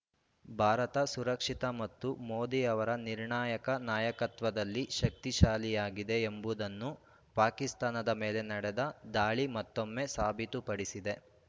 ಭಾರತ ಸುರಕ್ಷಿತ ಮತ್ತು ಮೋದಿ ಅವರ ನಿರ್ಣಾಯಕ ನಾಯಕತ್ವದಲ್ಲಿ ಶಕ್ತಿಶಾಲಿಯಾಗಿದೆ ಎಂಬುದನ್ನು ಪಾಕಿಸ್ತಾನದ ಮೇಲೆ ನಡೆದ ದಾಳಿ ಮತ್ತೊಮ್ಮೆ ಸಾಬೀತುಪಡಿಸಿದೆ